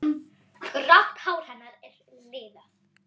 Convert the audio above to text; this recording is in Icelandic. Grátt hár hennar er liðað.